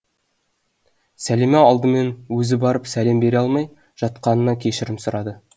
сәлима алдымен өзі барып сәлем бере алмай жатқанына кешірім сұрады